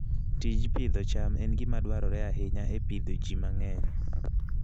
Tij pidho cham en gima dwarore ahinya e pidho ji mang'eny